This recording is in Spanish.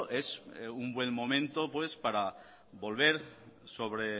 es un buen momento para volver sobre